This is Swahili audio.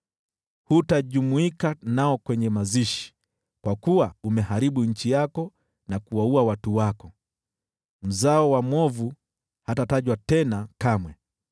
Hutajumuika nao kwenye mazishi, kwa kuwa umeharibu nchi yako na kuwaua watu wako. Mzao wa mwovu hatatajwa tena kamwe.